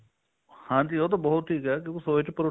ਹਾਂਜੀ ਉਹ ਤਾਂ ਬਹੁਤ ਠੀਕ ਹੈ ਕਿਉਂਕਿ ਉਹਦੇ ਚ protein